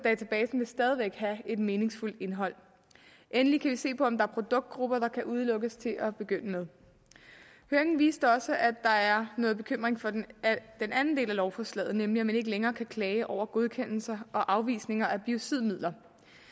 vil stadig væk have et meningsfuldt indhold endelig kan vi se på om der er produktgrupper der kan udelukkes til at begynde med høringen viste også at der er noget bekymring for den anden del af lovforslaget nemlig at man ikke længere kan klage over godkendelser og afvisninger af biocidmidler